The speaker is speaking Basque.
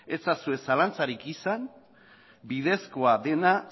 ez ezazue zalantzarik izan bidezkoa dena